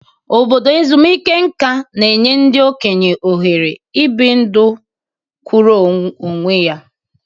Obodo ezumike nka na-enye ndị okenye ohere ibi ndụ kwụụrụ onwe ya.